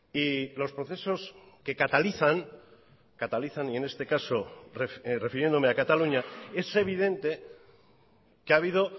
y los procesos que catalizan catalizan y en este caso refiriéndome a cataluña es evidente que ha habido